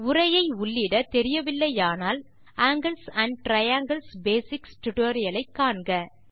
உரையை உள்ளிடத் தெரியவில்லையானால் ஆங்கில்ஸ் ஆண்ட் டிரையாங்கில்ஸ் பேசிக்ஸ் டுடோரியலை காண்க